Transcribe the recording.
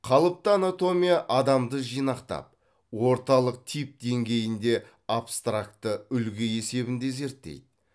қалыпты анатомия адамды жинақтап орталық тип деңгейінде абстракты үлгі есебінде зерттейді